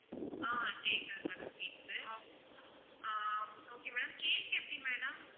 ஆஹ் கேக்குது madam கேக்குது ஆஹ் okay madam cake எப்படி madam